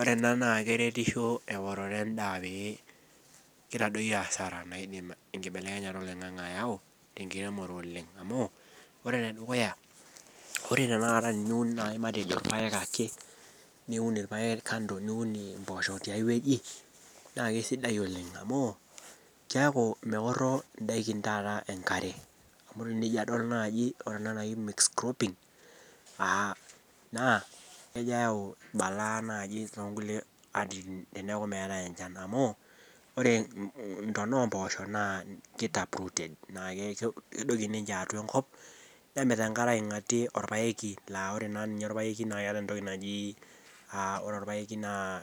Ore ena naa keretisho eworore endaa pee kitadoyio asara naidim enkibelekenyata oloing'ang'e ayau tenkiremore oleng amu ore enedukuya ore tenakata teniun naaji matejo irpayek ake niun irpayek kando niun impoosho tiae wueji naa kisidai oleng amu keeku meorro indaikin taata enkare amu tenijo adol naaji ore ena naji mixed cropping uh naa kejo ayau balaa naaji tonkulie atitin teneeku meetae enchan amu ore intona ompoosho naa ki tap rooted naake kedoki ninche atua enkop nemit enkare aing'atie orpaeki laa ore naa ninye orpaeki naa keeta entoki naji uh ore orpayeki naa